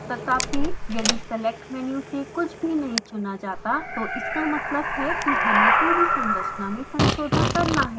तथापि यदि select menu से कुछ भी नही चुना जाता तो इसका मतलब है कि हमें पूरी संरचना में संशोधन करना है